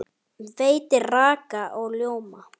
Veitir raka og ljóma.